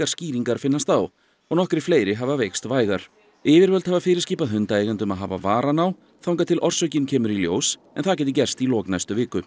skýringar finnast á og nokkrir fleiri hafa veikst vægar yfirvöld hafa fyrirskipað hundaeigendum að hafa varann á þangað til orsökin kemur í ljós en það gæti gerst í lok næstu viku